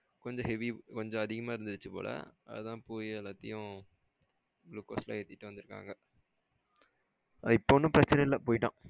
கொஞ்சம் heavy கொஞ்சம் ஆதிகமா இருந்துச்சு போல அதான் போய் எல்லாத்தையும் குளுகோஸ் எல்லாம் ஏத்திட்டு வந்துருக்காங்க அது இப்போ ஒன்னும்பிரச்சனை இல்ல போய்ட்டான்.